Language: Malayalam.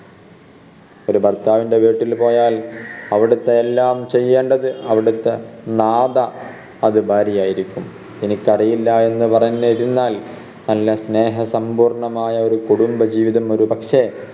ഒരു ഭർത്താവിൻറെ വീട്ടിൽ പോയാൽ അവിടത്തെ എല്ലാം ചെയ്യേണ്ടത് അവിടത്തെ നാഥ അത് ഭാര്യയായിരിക്കും എനിക്ക് അറിയില്ല എന്ന് പറഞ്ഞിരുന്നാൽ നല്ല സ്നേഹ സമ്പൂർണമായ ഒരു കുടുംബ ജീവിതം ഒരുപക്ഷേ